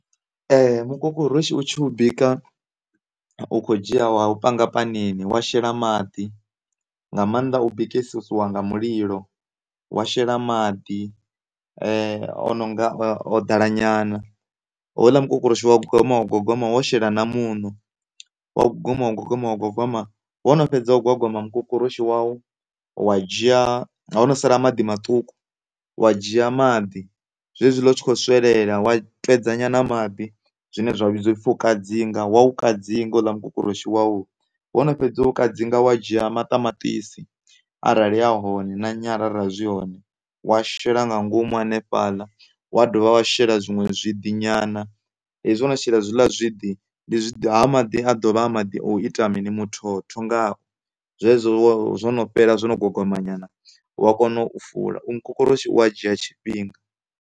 Mukokoroshi u tshi u bika u kho dzhia wa u panga panini wa shela maḓi nga maanḓa u bikesisiwa nga mulilo, wa shela maḓi o nonga o ḓala nyana houḽa mukokoroshi wa gwagwama, wa gwagwama wo shela na muṋo, wa gwagwama, wa gwagwama, wa gwagwama wo no fhedza u gwagwama mukokoroshi wau wa dzhia ho no sala maḓi maṱuku, wa dzhia maḓi zwezwiḽa u tshi kho swelela wa twedza nyana maḓi zwine zwa vhidzwa upfhi u kadzinga, wa u kadzinga houḽa mukokoroshi wau wono fhedza u kadzinga wa dzhia maṱamaṱisi arali a hone na nyala arali zwi hone wa shela nga ngomu hanefhaḽa, wa dovha wa shela zwiṅwe zwiḓi nyana hezwi wo no shela hezwiḽa zwiḓi haa maḓi a ḓovha a kho ita mini? muthotho ngao zwezwo zwo no fhela zwo no gwagwama nyana wa kona u fula mukokoroshi u a dzhia tshifhinga.